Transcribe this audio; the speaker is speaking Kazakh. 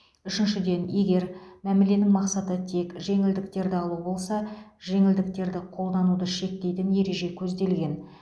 үшіншіден егер мәміленің мақсаты тек жеңілдіктерді алу болса жеңілдіктерді қолдануды шектейтін ереже көзделген